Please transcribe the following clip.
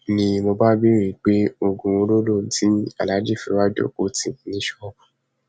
ni mo bá béèrè pé oògùn wo lo lò tí aláàjì fi ń wáá jókòó tì í ní ṣọọbù